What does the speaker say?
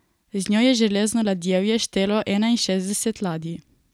Z njo je Železno ladjevje štelo enainšestdeset ladij.